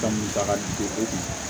Dɔnkilida ka di o kun